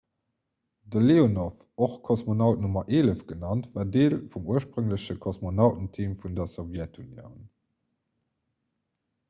de leonov och kosmonaut nr 11 genannt war deel vum urspréngleche kosmonautenteam vun der sowjetunioun